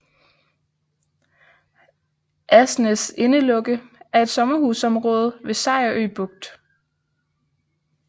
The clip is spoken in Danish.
Asnæs Indelukke er et sommerhusområde ved Sejerø Bugt